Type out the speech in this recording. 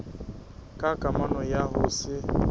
ka kamano ya ho se